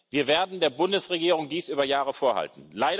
Wir werden dies der Bundesregierung über Jahre vorhalten.